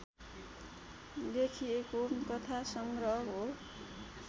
लेखिएको कथा सङ्ग्रह हो